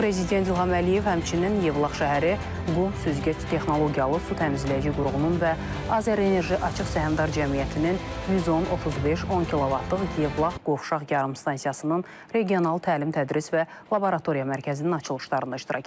Prezident İlham Əliyev həmçinin Yevlax şəhəri, Qum süzgəc texnologiyalı su təmizləyici qurğununun və Azərenerji Açıq Səhmdar Cəmiyyətinin 110-35-10 kV-lıq Yevlax qovşaq yarımstansiyasının regional təlim-tədris və laboratoriya mərkəzinin açılışlarında iştirak edib.